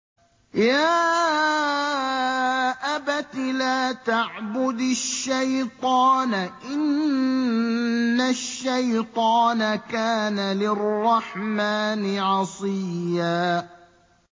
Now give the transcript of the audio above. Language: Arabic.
يَا أَبَتِ لَا تَعْبُدِ الشَّيْطَانَ ۖ إِنَّ الشَّيْطَانَ كَانَ لِلرَّحْمَٰنِ عَصِيًّا